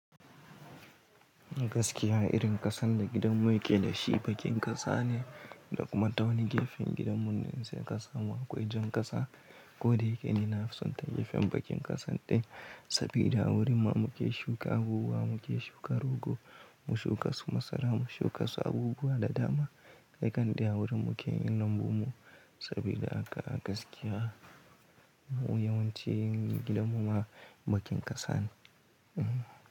Gaskiya irin ƙasan da gidanmu yake da shi bakin ƙasa ne da kuma ta wani gefen gidanmu nan sai ƙasa ma akwai jan ƙasa. Ko da yake ni na fi son ta gefen bakin ƙasan din saboda a wurin ma muke shuka abubuwa, muke shuka rogo, mu shuka su masara, mu shuka su abubuwa da dama. Kqimmai da a wurin muke yin lambu mu saboda aka gaskiya yawancin gidanmu ma bakin ƙasa ne. Hmm.